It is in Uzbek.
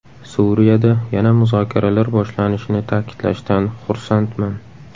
Suriyada yana muzokaralar boshlanishini ta’kidlashdan xursandman.